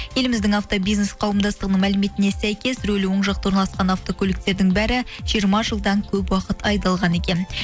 еліміздің автобизнес қауымдастығының мәліметіне сәйкес рөлі оң жақта орналасқан автокөліктердің бәрі жиырма жылдан көп уақыт айдалған екен